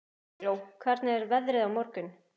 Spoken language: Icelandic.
Eygló, hvernig er veðrið á morgun?